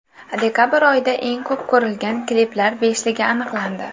Dekabr oyida eng ko‘p ko‘rilgan kliplar beshligi aniqlandi.